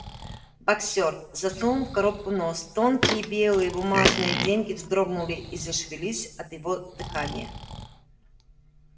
боксёр засунул в коробку нос тонкие белые бумажные деньги вздрогнули и зашевелись от его дыхания